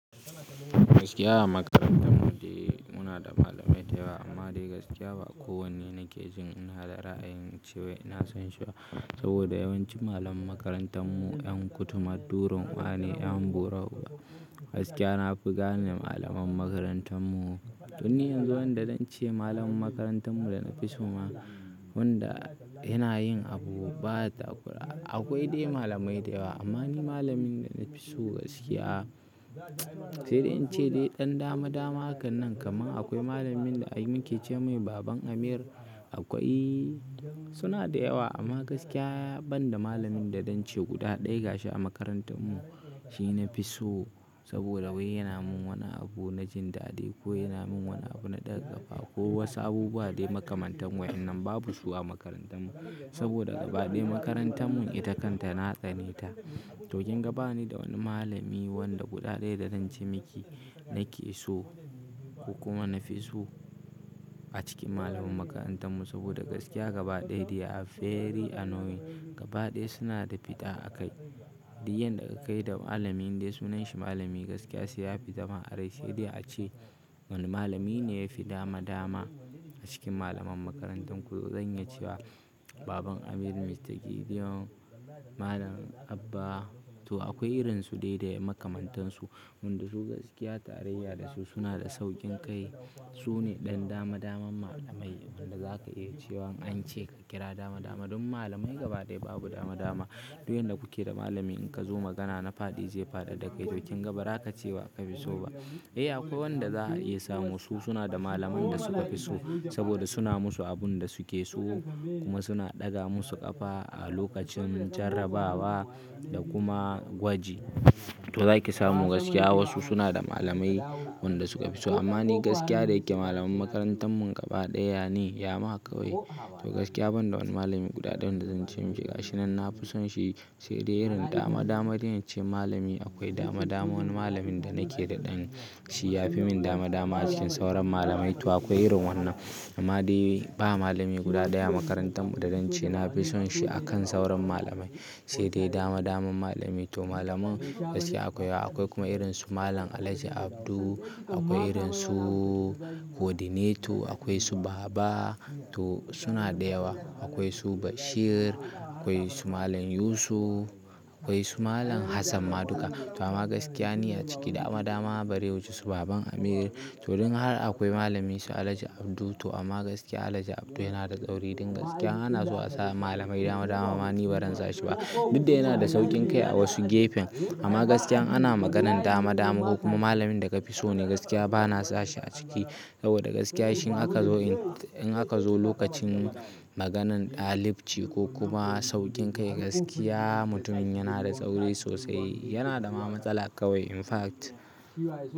Gaskiya a makarantar mu dai muna da malamai da yawa amma dai gaskiya ba kowane nake jin ina da ra'ayin cewa ina son shi ba saboda yawancin malaman makarantar mu 'yan kutuma durunwa ne, 'yan buru. Gaskiya na fi gane malaman makarantan mu. Toni yanzu wanda zance malamin makarantar mu da na fi so ma wanda yana yin abu ba takura. Akwai dai malamai da yawa amma ni malamin da na fi so gaskiya, sai dai in ce dai ɗan dama dama hakan nan kamar akwai malamin da ake ce mai Baban Amir, akwai suna da yawa amma gaskiya banda malamin da zance guda ɗaya ga shi a makarantar mu shi na fi so saboda wai yana min wani abu na jin daɗi ko yana min wani abu na ɗaga ƙafa ko wasu abubuwa dai makamantan wa'innan babu su a makarantar mu saboda gaba ɗaya. Makarantan mu ita kanta na tsaneta. To kin ga bani da wani malami wanda guda ɗaya da dan ce miki nake so ko kuma na fi so a cikin malaman makarantan mu saboda gaskiya gaba ɗaya dai a very annoying gaba ɗaya suna da fita a kai. Duk yanda ka kai da malamin indai sunan shi malami gaskiya sai ya fita ma a rai sai dai a ce wani malami ne yafi dama dama a cikin malaman makarantan ku. To zan iya cewa Baban Amir, Mr Gideon, Malam Abba to akwai irinsu dai da makamantansu wanda su gaskiya tarayya da su suna da sauƙin kai. Su ne ɗan dama daman malamai wanda zaka iya cewa an ce ka kira dama dama. Dun malamai gaba ɗaya babu dama dama. Duk yanda kuke da malami in ka zo magana na fadi zai faɗar da kai to kin ga ba za ka ce wa ka fi so ba. Eh akwai wanda za ka iya samu su suna da malamin da suka fi so saboda suna musu abun da suke so kuma suna ɗaga musu ƙafa a lokacin jarrabawa da kuma gwaji. To zaki samu gaskiya wasu suna da malamai wanda suka fi so amma ni gaskiya da yake malaman makarantan mu gaba ɗaya ne ya ma kawai. To gaskiya banda wani malami guda ɗaya wanda zan ce miki ga shi nan na fi son shi sai dai irin dama dama dai na ce malami akwai dama dama wani malamin da nake da ɗan shi ya fi min dama dama a cikin sauran malamai. To akwai irin wannan amma dai ba malami guda ɗaya a makarantan mu da zan ce na fi son shi a kan sauran malamai sai dai dama daman malamai. To malaman gaskiya akwai akwai kuma irinsu Malam Alhaji Abdu, akwai irinsu Coordinator, akwai su Baba to suna da yawa. Akwai su Bashir, akwai su Malam Yusuf, akwai su Malam Hassan Maduga. To amma gaskiya ni a ciki dama dama bare wuce su Baban Amir. To dun haka akwai malamai su Alhaji Abdu to amma gaskiya Alhaji Abdu yana da tsauri duk gaskiya ana so a sa malamai dama dama amma ni ba zan sa shi ba. Duk da yana da sauƙin kai a wasu gefen amma gaskiya ana maganan dama dama ko kuma malamin da ka fi so ne gaskiya ba na sa shi a ciki saboda gaskiya shi in aka zo in in aka zo lokacin maganan ɗalibci ko kuma sauƙin kai gaskiya mutumin yana da tsauri sosai yana da ma matsala kawai. In fact.